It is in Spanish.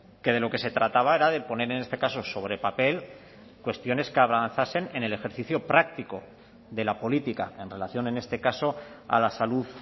que de lo que se trataba era de poner en este caso sobre papel cuestiones que avanzasen en el ejercicio práctico de la política en relación en este caso a la salud